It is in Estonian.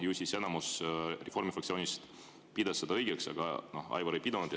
Ju siis enamus Reformierakonna fraktsioonist pidas seda õigeks, aga Aivar ei pidanud.